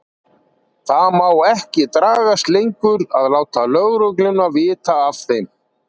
Það má ekki dragast lengur að láta lögregluna vita af þeim.